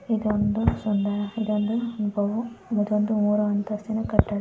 ಇದೊಂದು ಸುಂದರ ಇದೊಂದು ಮೂರು ಅಂತಸ್ತಿನ ಕಟ್ಟಡ.